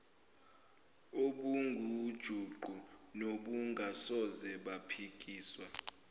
obungujuqu nobungasoze baphikiswa